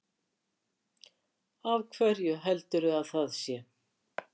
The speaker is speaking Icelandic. Af hverju heldurðu að það sé?